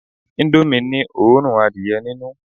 Indomie ni òórùn adìẹ ninu